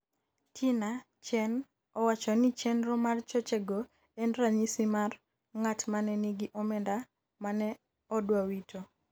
Tina Chen owachoni chenro mar choche go en ranyisi mar ng'at mane nigi omenda mane odwa wito